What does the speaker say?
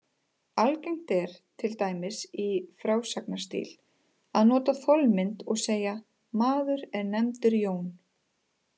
Algengt er, til dæmis í frásagnarstíl, að nota þolmynd og segja: Maður er nefndur Jón.